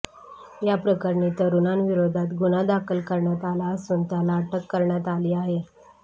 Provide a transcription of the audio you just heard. याप्रकरणी तरूणाविरोधात गुन्हा दाखल करण्यात आला असून त्याला अटक करण्यात आली आहे